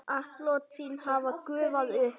Atlot þín hafa gufað upp.